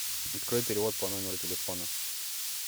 открой перевод по номеру телефона